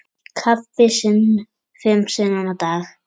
Kaffi fimm sinnum á dag.